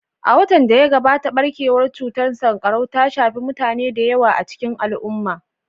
A watan da ya gabata, barkewar cutar sankarau ta shafi mutane da yawa a cikin al'umma